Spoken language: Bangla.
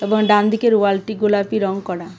ডানদিকের ওয়ালটি গোলাপি রং করা।